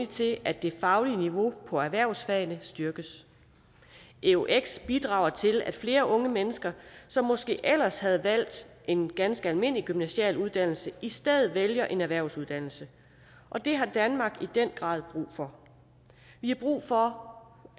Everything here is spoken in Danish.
til at det faglige niveau på erhvervsfagene styrkes eux bidrager til at flere unge mennesker som måske ellers havde valgt en ganske almindelig gymnasial uddannelse i stedet vælger en erhvervsuddannelse og det har danmark i den grad brug for vi har brug for